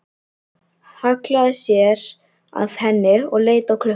Hallaði sér að henni og leit á klukkuna.